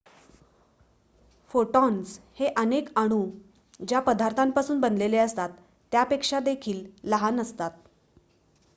photons हे अनेक अणु ज्या पदार्थापासून बनलेले असतात त्यापेक्षा देखील लहान असतात